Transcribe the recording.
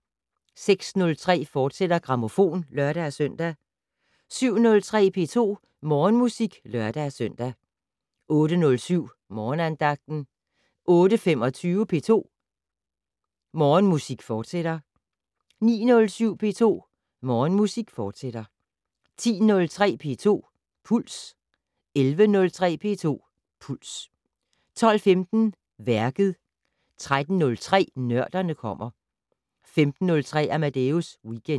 06:03: Grammofon, fortsat (lør-søn) 07:03: P2 Morgenmusik (lør-søn) 08:07: Morgenandagten 08:25: P2 Morgenmusik, fortsat 09:07: P2 Morgenmusik, fortsat 10:03: P2 Puls 11:03: P2 Puls 12:15: Værket 13:03: Nørderne kommer 15:03: Amadeus Weekend